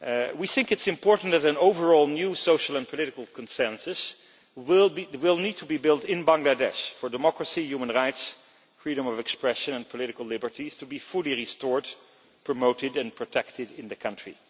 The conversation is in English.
We think it is important that an overall new social and political consensus will need to be built in Bangladesh for democracy, human rights, freedom of expression and political liberties to be fully restored, promoted and protected in the country.